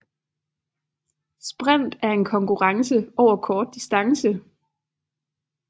Sprint er en konkurrence over kort distance